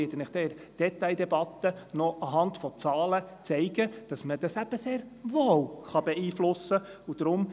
In der Detaildebatte werde ich Ihnen anhand von Zahlen aufzeigen, dass sich das sehr wohl beeinflussen lässt.